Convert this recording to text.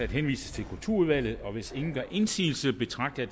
henvises til kulturudvalget hvis ingen gør indsigelse betragter